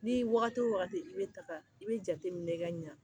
Ni wagati o wagati i bɛ taa i bɛ jate minɛ ka ɲɛ